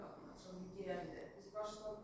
Axırıncı burdan sonra düzəldib, biz başqa torpaqda.